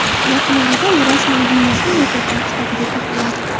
Yaqin orada u rasman Ginnesning Rekordlar kitobiga kiritiladi.